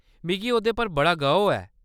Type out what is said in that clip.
मिगी ओह्‌दे पर बड़ा गौह्‌‌ ऐ।